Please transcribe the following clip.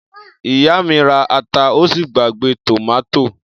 Ìyá mi ra ata ó sì gbàgbé tòmátò.